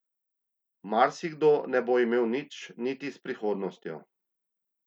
Marsikdo ne bo imel nič niti s prihodnostjo.